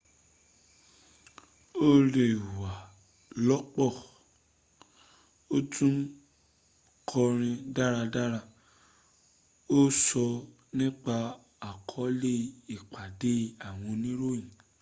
ó lẹ́wà lọ́pọ́ ó tún kọrin dáradára ó sọ́ nípa àkọọ́lẹ̀ ìpàdé àwọn oníròyìn